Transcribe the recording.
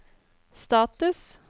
status